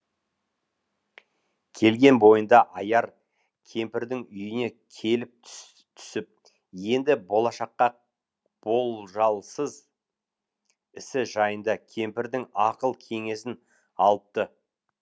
келген бойында аяр кемпірдің үйіне келіп түсіп енді болашаққы болжалсыз ісі жайында кемпірдің ақыл кеңесін алыпты